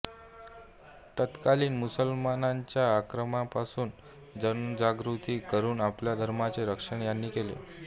तत्कालीन मुसलमानांच्या आक्रमणापासून जनजागृती करून आपल्या धर्माचे रक्षण यांनी केले